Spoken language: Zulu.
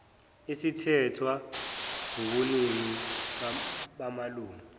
sithethwe wubuningi bamalungu